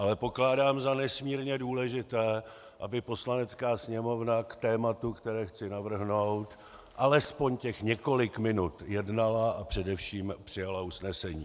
Ale pokládám za nesmírně důležité, aby Poslanecká sněmovna k tématu, které chci navrhnout, alespoň těch několik minut jednala a především přijala usnesení.